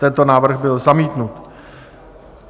Tento návrh byl zamítnut.